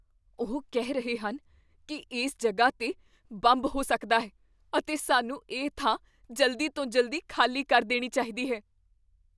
ਉਹ ਕਹਿ ਰਹੇ ਹਨ ਕੀ ਇਸ ਜਗ੍ਹਾ 'ਤੇ ਬੰਬ ਹੋ ਸਕਦਾ ਹੈ ਅਤੇ ਸਾਨੂੰ ਇਹ ਥਾਂ ਜਲਦੀ ਤੋਂ ਜਲਦੀ ਖ਼ਾਲੀ ਕਰ ਦੇਣੀ ਚਾਹੀਦੀ ਹੈ।